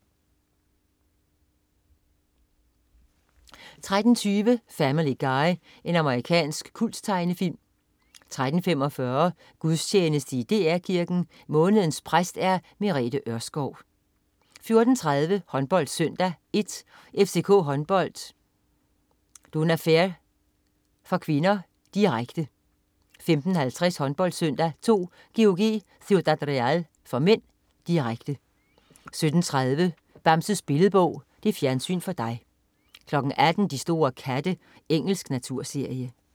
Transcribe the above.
13.20 Family Guy. Amerikansk kulttegnefilm 13.45 Gudstjeneste i DR Kirken. Månedens præst er Merete Ørskov 14.30 HåndboldSøndag I: FCK Håndbold-Dunaferr (k), direkte 15.50 HåndboldSøndag II: GOG-Ciudad Real (m), direkte 17.30 Bamses Billedbog. Fjernsyn for dig 18.00 De store katte. Engelsk naturserie